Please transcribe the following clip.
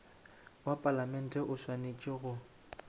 wa palamente o swanetše go